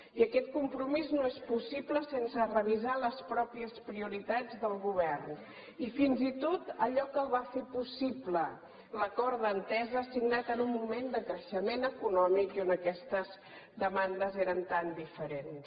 i aquest compromís no és possible sense revisar les mateixes prioritats del govern i fins i tot allò que el va fer possible l’acord d’entesa signat en un moment de creixement econòmic i on aquestes demandes eren tan diferents